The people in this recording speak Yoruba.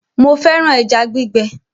Mo fẹ́ràn ẹja gbígbẹ